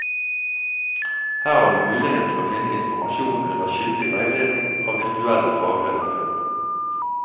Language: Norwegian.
Her har du mulighet til å finne informasjon under kyndig veiledning av virtuelle fagredaktører.